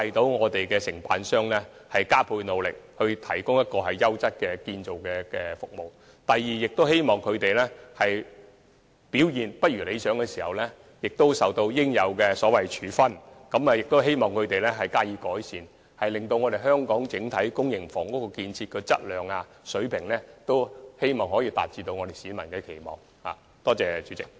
第一，鼓勵承辦商加倍努力，提供優質的建築服務；第二，使表現未如理想的承辦商受到應有處分，並希望他們改善表現，令香港整體公營房屋的建造質素可以達到市民的期望。